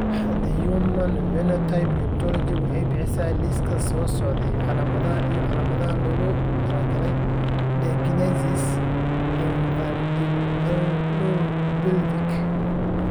The Human Phenotype Ontology waxay bixisaa liiska soo socda ee calaamadaha iyo calaamadaha loogu talagalay dysgenesis Infundibulopelvic.